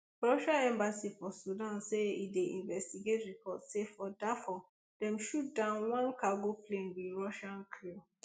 russia embassy for sudan say e dey investigate report say for dafur dem shoot down one cargo plane wit russian crew